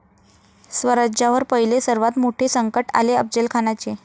स्वराज्यावर पहिले सर्वात मोठे संकट आले अफजलखानाचे